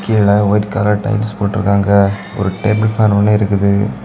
கீழ white colour tiles போட்டு௫க்காங்க ஒ௫ டேபிள் ஃபேன் ஒன்னு இருக்குது.